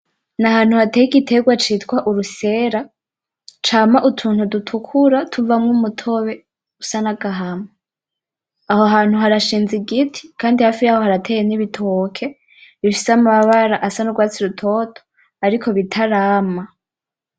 N’ahantu hateye igiterwa citwa urusera cama utuntu dutukura tuvamwo umutobe usa nagahama, aho hantu harashinze igiti kandi hafi yaho harateye n’ibitoki bifise amabara asa nurwatsi rutoto ariko bitarama.